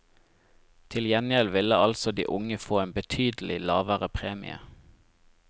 Til gjengjeld ville altså de unge få en betydelig lavere premie.